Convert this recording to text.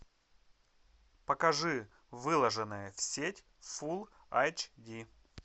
покажи выложенное в сеть фулл айч ди